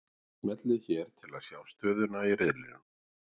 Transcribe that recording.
Smellið hér til að sjá stöðuna í riðlunum